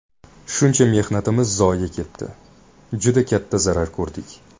Shuncha mehnatimiz zoye ketdi, juda katta zarar ko‘rdik.